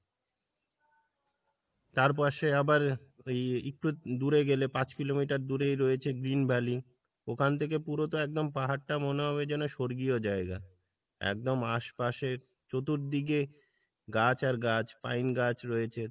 তার পাশে আবার ওই একটু দূরে গেলে পাঁচ কিলোমিটার দূরেই রয়েছে green valley ওখান থেকে পুরো তো একদম পাহাড় টা মনে হবে যেন স্বর্গীয় জায়গা, একদম আশপাশে চতুর্দিকে গাছ আর গাছ পাইন গাছ রয়েছে